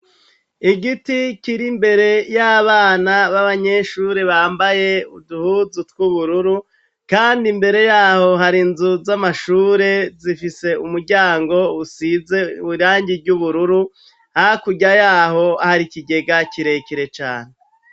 igiti kiri mbere y'abana b'abanyeshuri bambaye uduhuzu tw'ubururu kandi imbere yaho harinzu z'amashure zifise umuryango usize irangi ry'ubururu hakuryayaho hari ikigega kirekire cane